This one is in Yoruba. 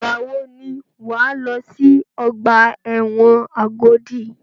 Ìgbà wò ni wà á lọ sí ọgbà ẹ̀wọ̀n Agodi?